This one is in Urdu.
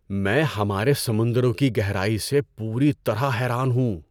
میں ہمارے سمندروں کی گہرائی سے پوری طرح حیران ہوں!